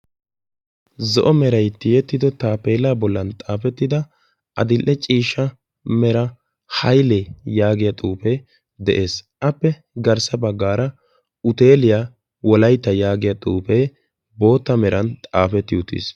zo;o merai tiyettido taapeelaa bollan xaafettida adil''e ciishsha mera haylee yaagiya xuufee de'ees appe garssa baggaara uteeliyaa wolaytta yaagiya xuufee bootta meran xaafetti uttiis